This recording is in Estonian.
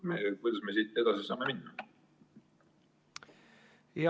Kuidas me siit edasi saame minna?